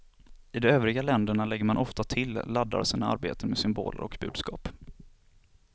I de övriga länderna lägger man ofta till, laddar sina arbeten med symboler och budskap.